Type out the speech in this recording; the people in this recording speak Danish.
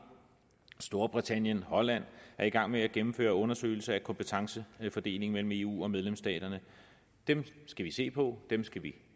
og storbritannien og holland er i gang med at gennemføre en undersøgelse af kompetencefordelingen mellem eu og medlemsstaterne dem skal vi se på dem skal vi